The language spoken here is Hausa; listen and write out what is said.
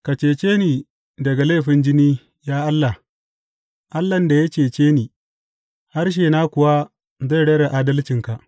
Ka cece ni daga laifin jini, ya Allah, Allahn da ya cece ni, harshena kuwa zai rera adalcinka.